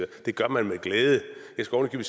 det gør man med glæde jeg skulle